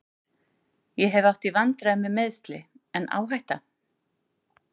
Ég hef átt í vandræðum með meiðsli, en áhætta?